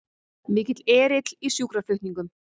Mikill erill í sjúkraflutningum